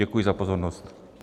Děkuji za pozornost.